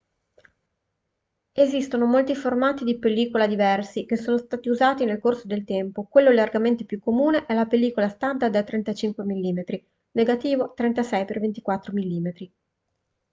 esistono molti formati di pellicola diversi che sono stati usati nel corso del tempo. quello largamente più comune è la pellicola standard da 35 mm negativo 36x24 mm